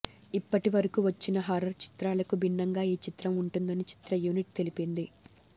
ఇప్పటి వరకు వచ్చిన హర్రర్ చిత్రాలకు బిన్నంగా ఈ చిత్రం ఉంటుందని చిత్ర యూనిట్ తెలిపింది